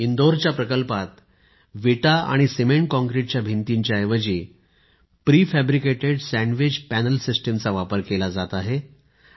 इंदौरच्या प्रकल्पात विटा आणि सीमेंट काँक्रीटच्या भिंतीच्या ऐवजी प्री फॅब्रिकेटेड सँडविच पॅनल सिस्टिमचा वापर केला जात आहे